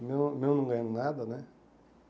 O meu meu não ganhando nada, né?